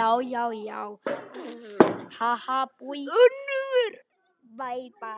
sorgir og þrár.